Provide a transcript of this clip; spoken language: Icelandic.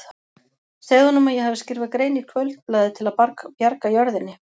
Segðu honum að ég hafi skrifað grein í Kvöldblaðið til að bjarga jörðinni.